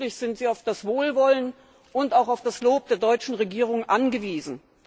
Offensichtlich sind Sie auf das Wohlwollen und auch auf das Lob der deutschen Regierung angewiesen.